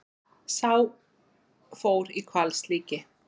Sá fór í hvalslíki.